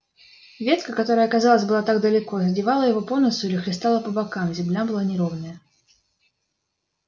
ветка которая казалось была так далеко задевала его по носу или хлестала по бокам земля была неровная